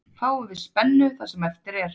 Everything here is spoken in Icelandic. Fáum við spennu það sem eftir er.